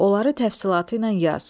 Onları təfsilatı ilə yaz.